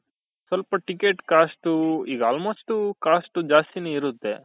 ಸ್ವಲ್ಪ ticket cost ಈಗ almost cost ಜಾಸ್ತಿನೆ ಇರುತ್ತೆ .